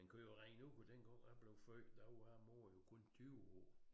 Men kører rent ud på den går jeg blev født der var mor jo kun 20 år